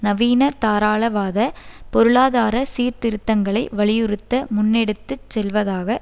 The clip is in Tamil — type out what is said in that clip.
நவீனதாராளவாத பொருளாதார சீர்திருத்தங்களை வலியுறுத்த முன்னெடுத்து செல்வதாக